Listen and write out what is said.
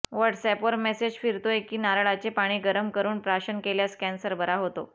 व्हॉट्सऍपवर मेसेज फिरतोय की नारळाचे पाणी गरम करून प्राशन केल्यास कॅन्सर बरा होतो